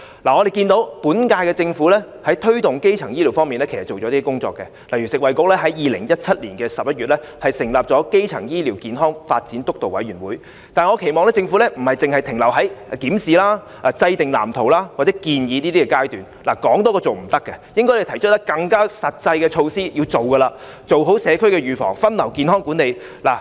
我們看到本屆政府在推動基層醫療方面，其實做了一些工作，例如食物及衞生局在2017年11月成立基層醫療健康發展督導委員會，但我期望政府不僅停留在"檢視"、"制訂藍圖"或"建議"的階段，不可以說多於做，應該提出更加實際的措施，落實推行，做好社區預防、分流和健康管理。